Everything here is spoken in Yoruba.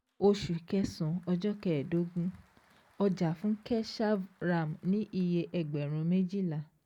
Oṣù kẹsàn-án ọjọ́ kẹẹ̀dógún ọjà fún Keshav Ram ní iye ẹgbẹ̀rún méjìlá